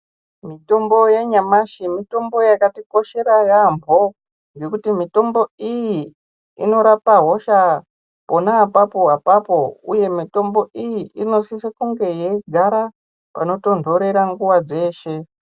Mitombo yanyamashi mitombo yakatikoshera yaambo ngekuti mitombo iyi inorapa hosha pana apapo-apapo, uye mitombo iyi inosise kunge yeigara panotonhorera nguva dzeshe.